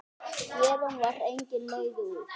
Héðan var engin leið út.